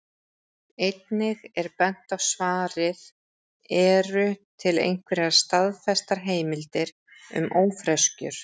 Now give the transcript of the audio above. Einnig er bent á svarið Eru til einhverjar staðfestar heimildir um ófreskjur?